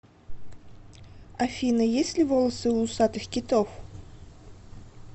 афина есть ли волосы у усатых китов